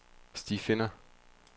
stifinder